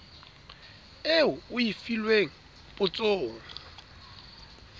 eo o e filweng potsong